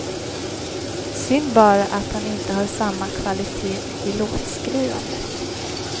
Synd bara att han inte har samma kvalitet i låtskrivandet.